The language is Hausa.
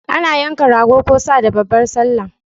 Ana yanka Rago ko Sa da babbar sallah